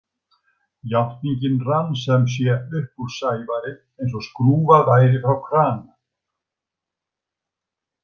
Játningin rann sem sé upp úr Sævari eins og skrúfað væri frá krana.